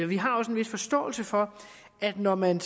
vi har også en vis forståelse for at når man